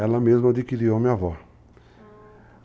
Ela mesma adquiriu a minha avó. ah